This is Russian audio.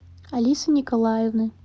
алисы николаевны